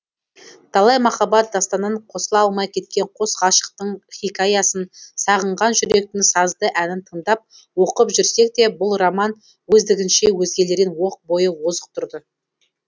талай махаббат дастанын қосыла алмай кеткен қос ғашықтың хикаясын сағынған жүректің сазды әнін тыңдап оқып жүрсекте бұл роман өздігінше өзгелерден оқ бойы озық тұрды